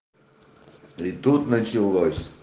и тут началось